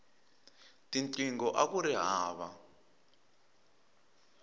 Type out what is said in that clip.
tinqingho akuri hava